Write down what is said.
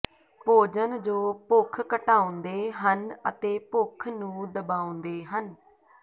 ਭੋਜਨ ਜੋ ਭੁੱਖ ਘਟਾਉਂਦੇ ਹਨ ਅਤੇ ਭੁੱਖ ਨੂੰ ਦਬਾਉਂਦੇ ਹਨ